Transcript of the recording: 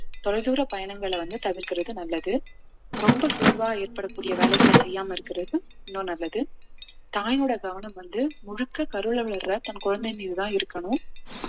தொலைதூர பயணங்கள வந்து தவிர்க்கிறது நல்லது ரொம்ப சோர்வா ஏற்படக்கூடிய வேலைகளை செய்யாம இருக்கிறது இன்னும் நல்லது தாயோட கவனம் வந்து முழுக்க கருவுல வளர்ற தன் குழந்தையின் மீதுதான் இருக்கணும்